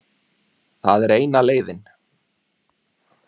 Það er eina leiðin